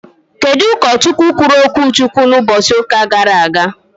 Kedụ ụkọ Chukwu kwuru okwu Chukwu na ụbọchị ụka gara aga?